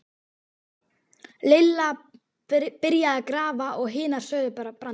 Lilla byrjaði að grafa og hinar sögðu brandara.